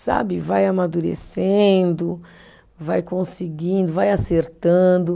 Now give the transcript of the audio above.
Sabe, vai amadurecendo, vai conseguindo, vai acertando.